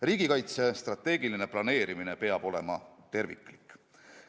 Riigikaitse strateegiline planeerimine peab olema terviklik.